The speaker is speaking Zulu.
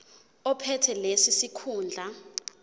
ophethe leso sikhundla